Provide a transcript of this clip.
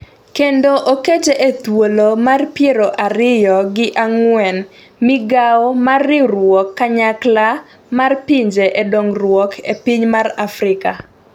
Kendo okete e thuolo mar piero ariyo gi ang'wen gi migawo mar riwruok kanyakla mar pinje e dongruok e piny mar Afrika.